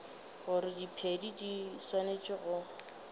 gore diphedi di swanetše go